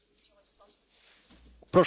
I could not disagree more.